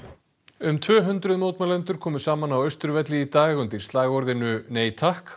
um tvö hundruð mótmælendur komu saman á Austurvelli í dag undir slagorðinu nei takk